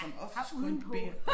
Ja har udenpå